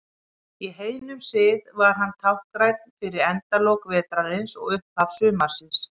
Í heiðnum sið var hann táknrænn fyrir endalok vetrarins og upphaf sumarsins.